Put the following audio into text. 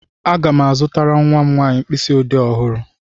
Aga m azụtara nwa m nwanyị mkpịsị ọdee ọhụrụ.